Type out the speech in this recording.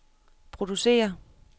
producere